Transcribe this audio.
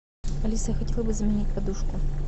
алиса я хотела бы заменить подушку